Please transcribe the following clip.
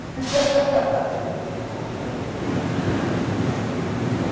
E como foi o início assim